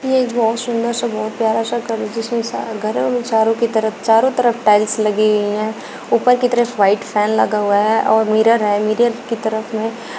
एक बहुत सुंदर सा बहुत प्यारा सा घर है जिसमें सारा घर है चारों के तरफ चारों तरफ टाइल्स लगी हुई हैं ऊपर की तरफ व्हाइट फैन लगा हुआ है और मिरर है मिरर की तरफ में--